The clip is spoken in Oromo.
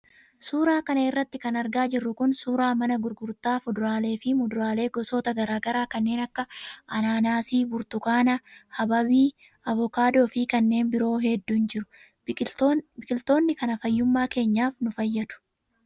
Suuraa kanarra kan argaa jirru kun suuraa mana gurgurtaa fuduraalee fi muduraalee gosoota garaagaraa kanneen akka anaanaasii, burtukaanaa, habaabii, avokaadoo fi kanneen biroo hedduun jiru. Biqilootni kana fayyummaa keenyaaf nu fayyadu.